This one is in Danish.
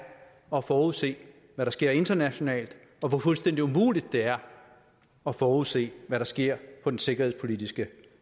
at forudse hvad der sker internationalt og hvor fuldstændig umuligt det er at forudse hvad der sker på den sikkerhedspolitiske